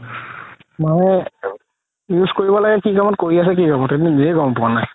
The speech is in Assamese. মানে use কৰিব লাগে কি কামত কৰি আছে কি কামত নিজেয়ে গ'ম পোৱা নাই